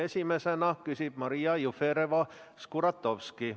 Esimesena küsib Maria Jufereva-Skuratovski.